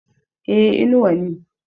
e Inuwa ne